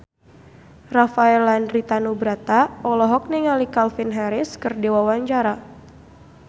Rafael Landry Tanubrata olohok ningali Calvin Harris keur diwawancara